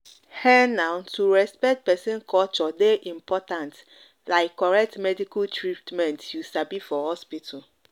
ehn na to respect person culture dey important like correct medical treatment you sabi for hospital.